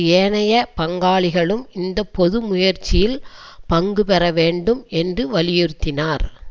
ஏனைய பங்காளிகளும் இந்த பொது முயற்சியில் பங்கு பெறவேண்டும் என்று வலியுறுத்தினார்